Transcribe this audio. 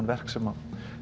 verk sem